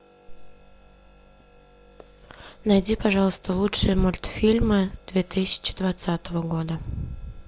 найди пожалуйста лучшие мультфильмы две тысячи двадцатого года